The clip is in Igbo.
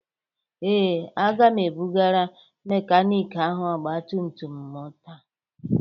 Ee. Aga m ebụgara mekaniki ahụ ọgba tum tum m taa.